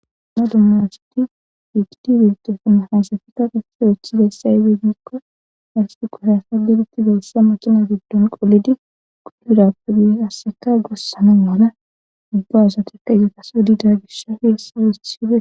Anadumma asadi yiigidi bintofuna hasafita qasse wuththidayssaybeggekko arsti quhayafadilitti beyssa maqina giddon qolidi qudubirappedihasseka gossana mala ubba asatekka geetas wodida gishafi hessa woothhide.